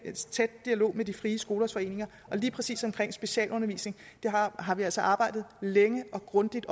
dialog med de frie skolers foreninger og lige præcis specialundervisningen har vi altså arbejdet længe og grundigt